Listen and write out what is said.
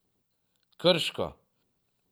Krško.